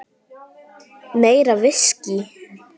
Meira viskí.